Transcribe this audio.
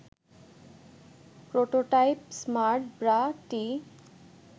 prototype ‘smart ব্রা’-টি